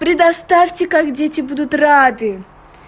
предоставьте как дети будут рады